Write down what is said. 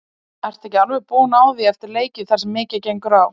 Ertu ekki alveg búinn á því eftir leiki þar sem mikið gengur á?